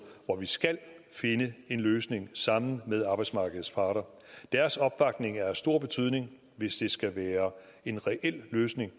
hvor vi skal finde en løsning sammen med arbejdsmarkedets parter deres opbakning har stor betydning hvis det skal være en reel løsning